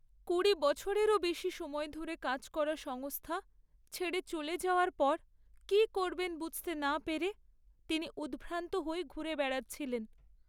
কুড়ি বছরেরও বেশি সময় ধরে কাজ করা সংস্থা ছেড়ে চলে যাওয়ার পর কি করবেন বুঝতে না পেরে তিনি উদ্ভ্রান্ত হয়ে ঘুরে বেড়াচ্ছিলেন।